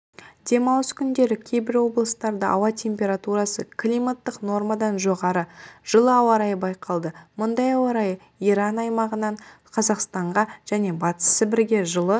демалыс күндері кейбір облыстарда ауа температурасы климаттық нормадан жоғары жылы ауа-райы байқалды мұндай ауа-райы иран аймағынан қазақстанға және батыс сібірге жылы